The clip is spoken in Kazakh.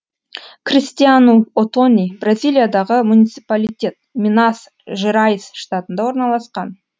кристиану отони бразилиядағы муниципалитет минас жерайс штатында орналасқан